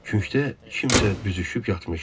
Künkdə kimsə büzüşüb yatmışdı.